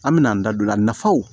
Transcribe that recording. An me n'an da don a la nafaw